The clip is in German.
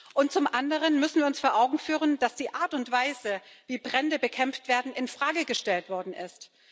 Und zum anderen müssen wir uns vor Augen führen, dass die Art und Weise, wie Brände bekämpft werden, in Frage gestellt worden ist.